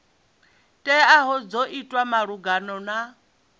teaho dzo itwa malugana na